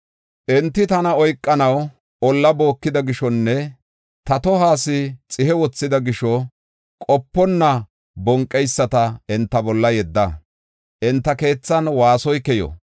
Enti tana oykanaw olla bookida gishonne ta tohuwas xihe wothida gisho, qoponna bonqeyisata enta bolla yedda; enta keethan waasoy keyo.